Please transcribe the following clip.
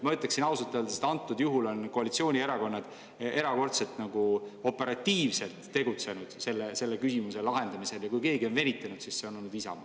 Ma ütleksin ausalt öeldes, et antud juhul on koalitsioonierakonnad erakordselt operatiivselt tegutsenud selle küsimuse lahendamisel ja kui keegi on venitanud, siis see on olnud Isamaa.